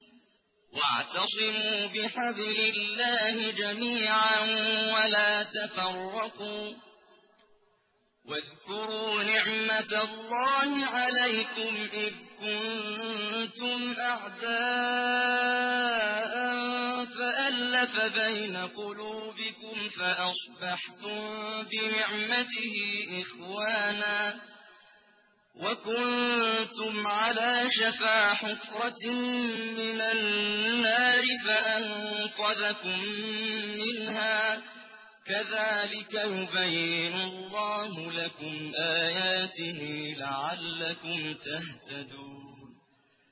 وَاعْتَصِمُوا بِحَبْلِ اللَّهِ جَمِيعًا وَلَا تَفَرَّقُوا ۚ وَاذْكُرُوا نِعْمَتَ اللَّهِ عَلَيْكُمْ إِذْ كُنتُمْ أَعْدَاءً فَأَلَّفَ بَيْنَ قُلُوبِكُمْ فَأَصْبَحْتُم بِنِعْمَتِهِ إِخْوَانًا وَكُنتُمْ عَلَىٰ شَفَا حُفْرَةٍ مِّنَ النَّارِ فَأَنقَذَكُم مِّنْهَا ۗ كَذَٰلِكَ يُبَيِّنُ اللَّهُ لَكُمْ آيَاتِهِ لَعَلَّكُمْ تَهْتَدُونَ